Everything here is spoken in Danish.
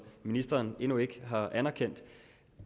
ministeren endnu ikke har anerkendt